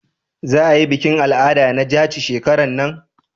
za a yi bikin al'ada na jaci shekaran nan?